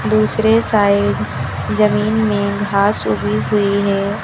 दूसरे साइड जमीन में घास उगी हुई है।